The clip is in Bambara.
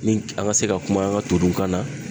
Ni an ka se ka kuma an ka to kan na.